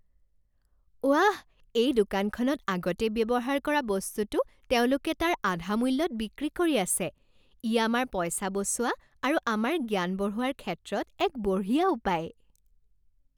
ৱাহ! এই দোকানখনত আগতে ব্যৱহাৰ কৰা বস্তুটো তেওঁলোকে তাৰ আধা মূল্যত বিক্ৰী কৰি আছে। ই আমাৰ পইচা বচোৱা আৰু আমাৰ জ্ঞান বঢ়োৱাৰ ক্ষেত্ৰত এক বঢ়িয়া উপায়।